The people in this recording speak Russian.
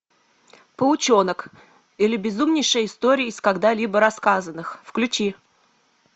паучонок или безумнейшая история из когда либо рассказанных включи